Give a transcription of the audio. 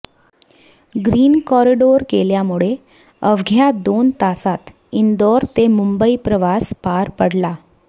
green corridor केल्यामुळे अवघ्या दोन तासात इंदूर ते मुंबई प्रवास पार पडला